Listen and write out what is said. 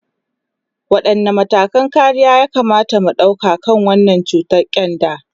Wadanne matakan kariya ya kamata mu dauka kan wannan cutar kyanda?